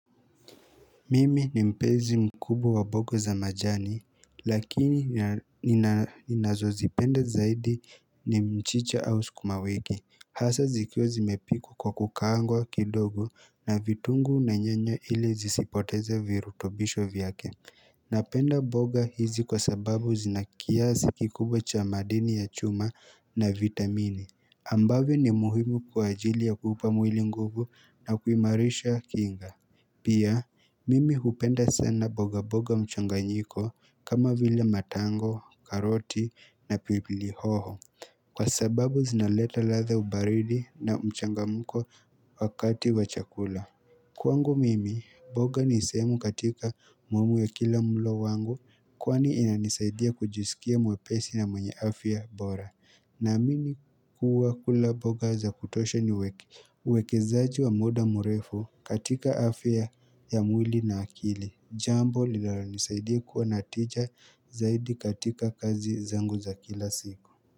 Mimi ni mpenzi mkubu wa boga za majani, lakini ninazozipenda zaidi ni mchicha au sukumawiki. Hasaa zikiwa zimepikwa kwa kukaangwa kidogo na vitungu na nyanya ili zisipoteze virutobisho vyake. Napenda boga hizi kwa sababu zinakiasi kikubwa cha madini ya chuma na vitamine. Ambavyo ni muhimu kwa ajili ya kupa mwili nguvu na kuimarisha kinga. Pia, mimi hupenda sana boga boga mchanganyiko kama vile matango, karoti na pipili hoho Kwa sababu zinaleta ladha ubaridi na mchangamuko wakati wa chakula Kwangu mimi, boga ni sehemu katika mambo ya kila mulo wangu Kwani inanisaidia kujisikia mwepesi na mwenye afya bora na amini kuwa kula boga za kutosha ni uwekezaji wa muda murefu katika afya ya mwili na akili. Jambo linalonisaidia kuwa na tija zaidi katika kazi zangu za kila siku.